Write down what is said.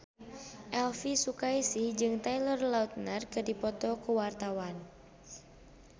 Elvy Sukaesih jeung Taylor Lautner keur dipoto ku wartawan